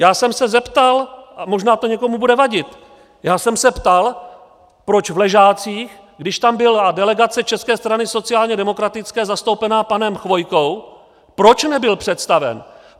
Já jsem se zeptal, a možná to někomu bude vadit, já jsem se ptal, proč v Ležácích, když tam byla delegace České strany sociálně demokratické zastoupená panem Chvojkou, proč nebyl představen.